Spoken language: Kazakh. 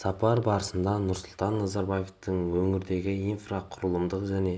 сапар барысында нұрсұлтан назарбаевтың өңірдегі инфрақұрылымдық және